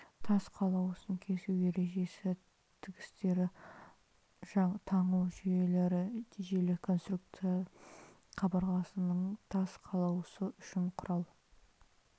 тас қалауысын кесу ережесі тігістерді таңу жүйелері желі конструкция қабырғасының тас қалауысы үшін құрал